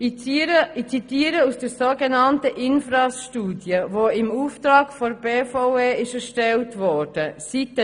Ich zitiere aus Seite 3 der im Auftrag der BVE erstellten so genannten INFRAS-Studie: